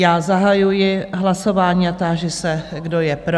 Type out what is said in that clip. Já zahajuji hlasování a táži se, kdo je pro?